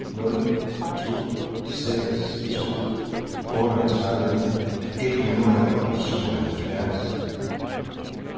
nul to seks to otteogtredive et hundrede og syvoghalvfjerds